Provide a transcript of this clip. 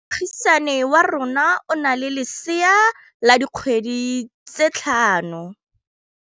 Moagisane wa rona o na le lesea la dikgwedi tse tlhano.